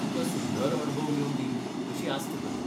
तुका सुंदर अणभव येवंदी अशी आस्त करतां.